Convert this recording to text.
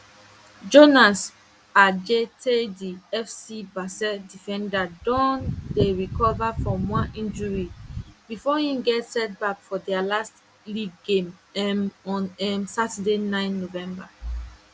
jonas adjeteydi fc basel defender don dey recover from one injury bifor im get setback for dia last league game um on um saturday nine november